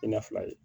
I na fila ye